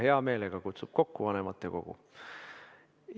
Ta kutsub hea meelega vanematekogu kokku.